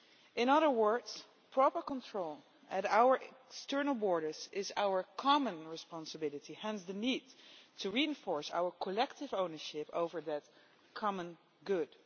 In other words, proper control at our external borders is our common responsibility, hence the need to reinforce our collective ownership over that common good.